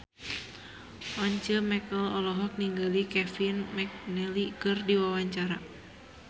Once Mekel olohok ningali Kevin McNally keur diwawancara